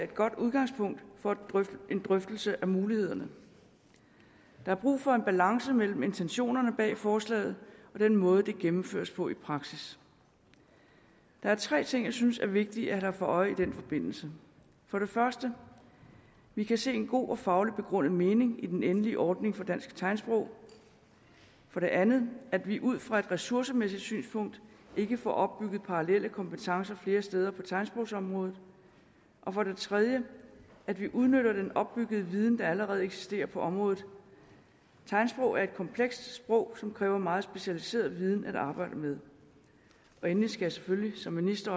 godt udgangspunkt for en drøftelse af mulighederne der er brug for en balance mellem intentionerne bag forslaget og den måde det gennemføres på i praksis der er tre ting jeg synes er vigtige at have for øje i den forbindelse for det første at vi kan se en god og fagligt begrundet mening i den endelige ordning for dansk tegnsprog for det andet at vi ud fra et ressourcemæssigt synspunkt ikke får opbygget parallelle kompetencer flere steder på tegnsprogsområdet og for det tredje at vi udnytter den opbyggede viden der allerede eksisterer på området tegnsprog er et komplekst sprog som kræver meget specialiseret viden at arbejde med endelig skal jeg selvfølgelig som minister